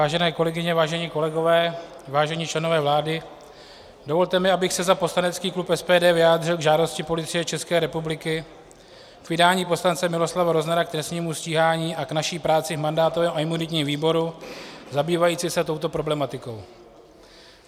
Vážené kolegyně, vážení kolegové, vážení členové vlády, dovolte mi, abych se za poslanecký klub SPD vyjádřil k žádosti Policie České republiky o vydání poslance Miloslava Roznera k trestnímu stíhání a k naší práci v mandátovém a imunitním výboru zabývající se touto problematikou.